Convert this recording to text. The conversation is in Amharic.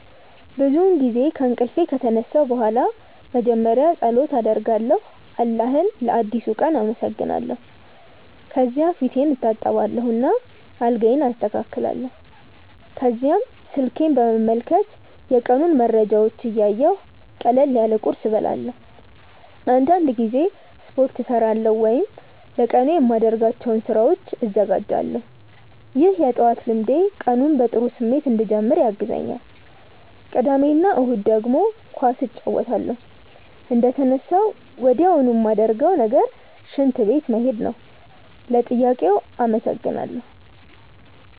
ብዙውን ጊዜ ከእንቅልፌ ከተነሳሁ በኋላ መጀመሪያ ፀሎት አደርጋለሁ አላህን ለአዲሱ ቀን አመሰግናለሁ። ከዚያ ፊቴን እታጠባለሁ እና አልጋዬን አስተካክላለሁ። ከዚያም ስልኬን በመመልከት የቀኑን መረጃዎች እያየሁ ቀለል ያለ ቁርስ እበላለሁ። አንዳንድ ጊዜ ስፖርት እሠራለሁ ወይም ለቀኑ የማደርጋቸውን ስራዎች እዘጋጃለሁ። ይህ የጠዋት ልምዴ ቀኑን በጥሩ ስሜት እንድጀምር ያግዘኛል። ቅዳሜ እና እሁድ ደግሞ ኳስ እጫወታለሁ። እንደተነሳሁ ወዲያውኑ ማረገው ነገር ሽንት ቤት መሄድ ነው። ለጥያቄው አመሰግናለው።